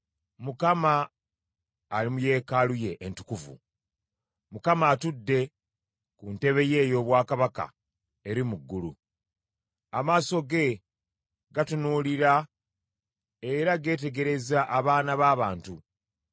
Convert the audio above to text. Mukama ali mu Yeekaalu ye entukuvu; Mukama atudde ku ntebe ye ey’obwakabaka eri mu ggulu. Amaaso ge gatunuulira era geetegereza abaana b’abantu.